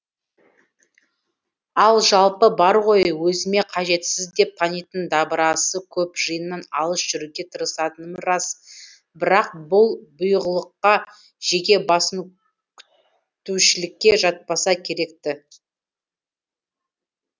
ал жалпы бар ғой өзіме қажетсіз деп танитын дабырасы көп жиыннан алыс жүруге тырысатыным рас бірақ бұл бұйығылыққа жеке басын күйттеушілікке жатпаса керек ті